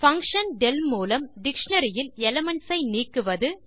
function del மூலம் dictionary இல் elements ஐ நீக்குவது